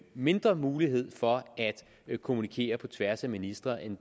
mindre mulighed for at kommunikere på tværs af ministerierne